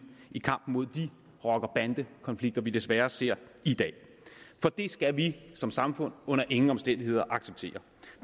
i kampen mod de rocker bande konflikter vi desværre ser i dag for det skal vi som samfund under ingen omstændigheder acceptere